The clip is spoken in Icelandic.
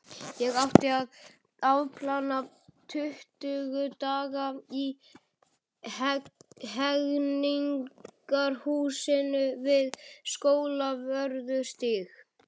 Ég átti að afplána tuttugu daga í Hegningarhúsinu við Skólavörðustíg.